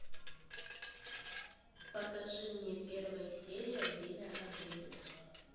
покажи мне первая серия время обедать